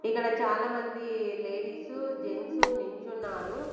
ఇక్కడ చాలా మంది లేడీసు జెంట్స్ నించున్నారు.